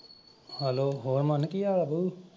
hello । ਹੋਰ ਮਨ ਕੀ ਹਾਲ ਆ ਬਈ?